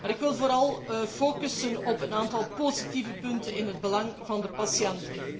Ik wil mij vooral concentreren op een aantal positieve punten in het belang van de patiënt.